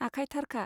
आखाइ थारखा